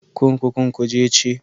Kurkukun Kuje ce.